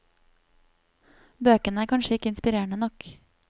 Bøkene er kanskje ikke inspirerende nok.